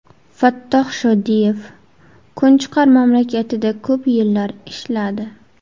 Fattoh Shodiyev kunchiqar mamlakatida ko‘p yillar ishladi.